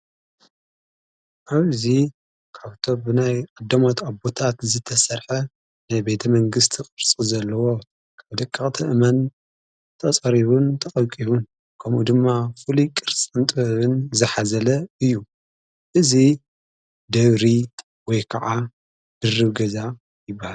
ኣብዚ ካብቶ ብናይ ኣዶሞት ኣቦታት ዝተሠርሐ ናይ ቤተ መንግሥቲ ቕርፁ ዘለዎ ካብ ደቂቕተ እመን ተጸሪቡን ተቐቂቡን ከምኡ ድማ ፍሊ ቅርጽ ንጥበብን ዝሓዘ እዩ እዙ ደብሪ ወይ ከዓ ድሪብ ገዛ ይበሃል።